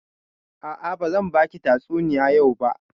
A'a, bazan baki tatsuniya yau ba.